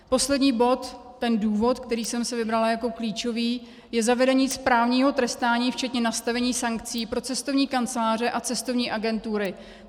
Poslední bod, ten důvod, který jsem si vybrala jako klíčový, je zavedení správního trestání včetně nastavení sankcí pro cestovní kanceláře a cestovní agentury.